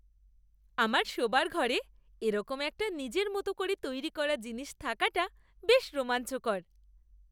আমার শোবার ঘরে এরকম একটা নিজের মতো করে তৈরী করা জিনিস থাকাটা বেশ রোমাঞ্চকর।